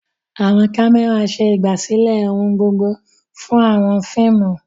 Àwọn kámẹ́rà ṣe ìgbàsílẹ̀ ohun gbogbo fún àwọn fíìmù.